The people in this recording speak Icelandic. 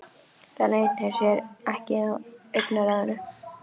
Það leynir sér ekki á augnaráðinu.